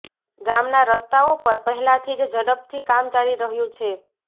ગામનાં રસ્તાઓ પર પહેલાથી જ ઝડપથી કામ ચાલી રહ્યું છે